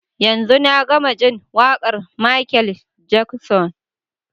Yanzun na gama jin waƙar Michael Jackson.